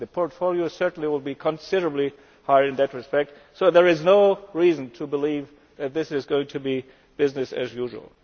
The portfolio will certainly be considerably higher in that respect so there is no reason to believe that this is going to be business as usual.